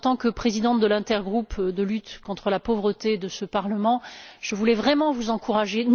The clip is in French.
En tant que présidente de l'intergroupe de lutte contre la pauvreté, dans ce Parlement, je voulais vraiment vous encourager.